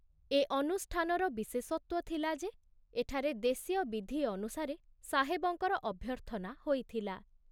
ଏ ଅନୁଷ୍ଠାନର ବିଶେଷତ୍ଵ ଥିଲା ଯେ ଏଠାରେ ଦେଶୀୟ ବିଧି ଅନୁସାରେ ସାହେବଙ୍କର ଅଭ୍ୟର୍ଥନା ହୋଇଥିଲା।